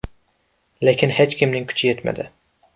Lekin hech kimning kuchi yetmadi.